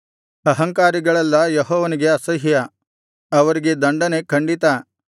ಅಹಂಕಾರಿಗಳೆಲ್ಲಾ ಯೆಹೋವನಿಗೆ ಅಸಹ್ಯ ಅವರಿಗೆ ದಂಡನೆ ಖಂಡಿತ